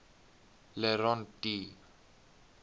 le rond d